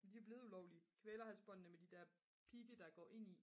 der er jo blevet ulovlige kvælerhalsbåndene med de der pigge der går ind i